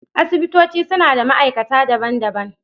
Asibitoci suna da ma’aikata daban-daban.